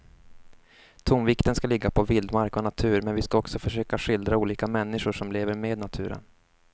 Tonvikten ska ligga på vildmark och natur men vi ska också försöka att skildra olika människor som lever med naturen.